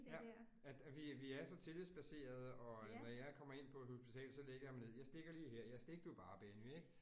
Ja, at at vi vi er så tillidsbaserede, at når jeg kommer ind på et hospital, så lægger jeg mig ned. Jeg stikker lige her, ja stik du bare Benny ik